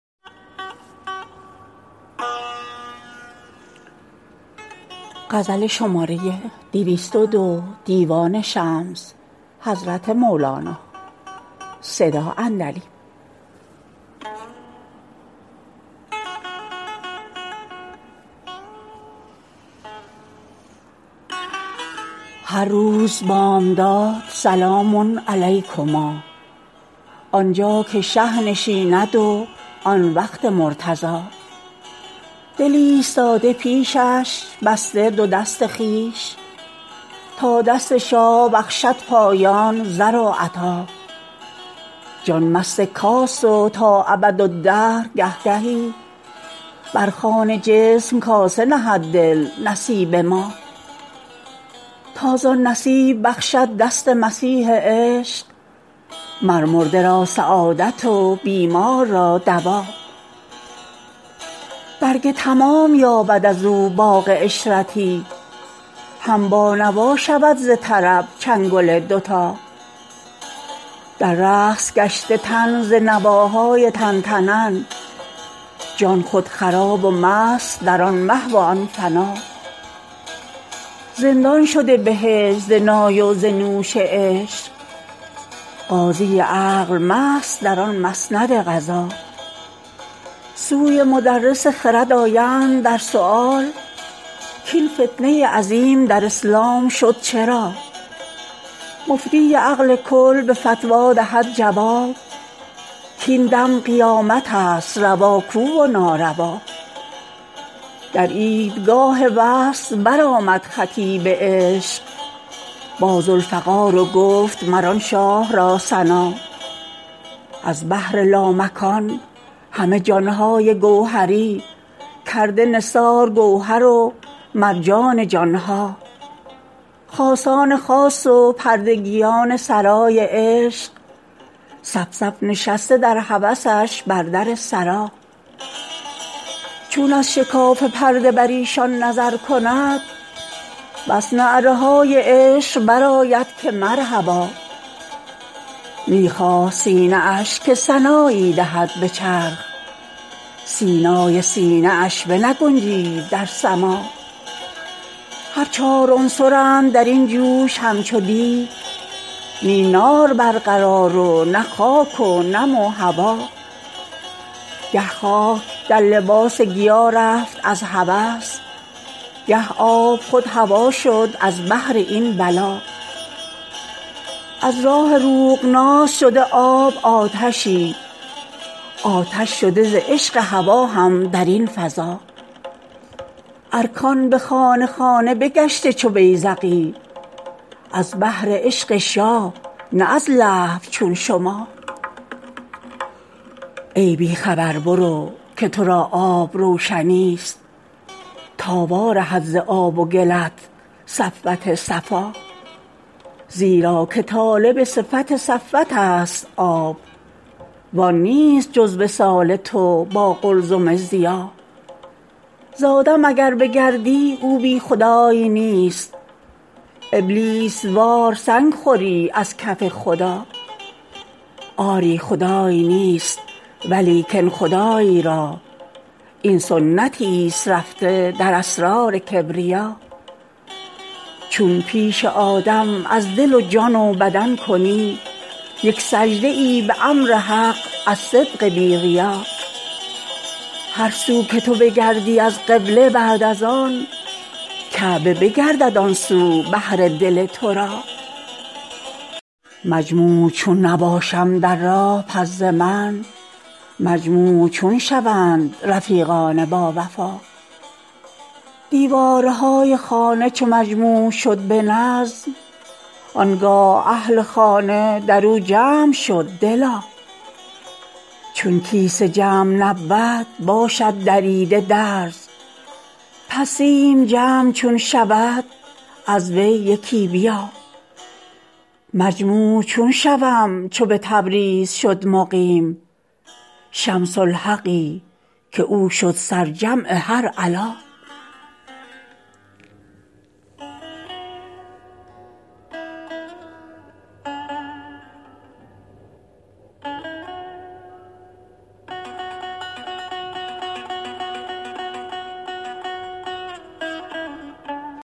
هر روز بامداد سلام علیکما آن جا که شه نشیند و آن وقت مرتضا دل ایستاد پیشش بسته دو دست خویش تا دست شاه بخشد پایان زر و عطا جان مست کاس و تا ابدالدهر گه گهی بر خوان جسم کاسه نهد دل نصیب ما تا زان نصیب بخشد دست مسیح عشق مر مرده را سعادت و بیمار را دوا برگ تمام یابد از او باغ عشرتی هم بانوا شود ز طرب چنگل دوتا در رقص گشته تن ز نواهای تن به تن جان خود خراب و مست در آن محو و آن فنا زندان شده بهشت ز نای و ز نوش عشق قاضی عقل مست در آن مسند قضا سوی مدرس خرد آیند در سؤال کاین فتنه عظیم در اسلام شد چرا مفتی عقل کل به فتوی دهد جواب کاین دم قیامت ست روا کو و ناروا در عیدگاه وصل برآمد خطیب عشق با ذوالفقار و گفت مر آن شاه را ثنا از بحر لامکان همه جان های گوهری کرده نثار گوهر و مرجان جان ها خاصان خاص و پردگیان سرای عشق صف صف نشسته در هوسش بر در سرا چون از شکاف پرده بر ایشان نظر کند بس نعره های عشق برآید که مرحبا می خواست سینه اش که سنایی دهد به چرخ سینای سینه اش بنگنجید در سما هر چار عنصرند در این جوش همچو دیک نی نار برقرار و نه خاک و نم هوا گه خاک در لباس گیا رفت از هوس گه آب خود هوا شد از بهر این ولا از راه روغناس شده آب آتشی آتش شده ز عشق هوا هم در این فضا ارکان به خانه خانه بگشته چو بیذقی از بهر عشق شاه نه از لهو چون شما ای بی خبر برو که تو را آب روشنی ست تا وارهد ز آب و گلت صفوت صفا زیرا که طالب صفت صفوت ست آب وان نیست جز وصال تو با قلزم ضیا ز آدم اگر بگردی او بی خدای نیست ابلیس وار سنگ خوری از کف خدا آری خدای نیست ولیکن خدای را این سنتی ست رفته در اسرار کبریا چون پیش آدم از دل و جان و بدن کنی یک سجده ای به امر حق از صدق بی ریا هر سو که تو بگردی از قبله بعد از آن کعبه بگردد آن سو بهر دل تو را مجموع چون نباشم در راه پس ز من مجموع چون شوند رفیقان باوفا دیوارهای خانه چو مجموع شد به نظم آن گاه اهل خانه در او جمع شد دلا چون کیسه جمع نبود باشد دریده درز پس سیم جمع چون شود از وی یکی بیا مجموع چون شوم چو به تبریز شد مقیم شمس الحقی که او شد سرجمع هر علا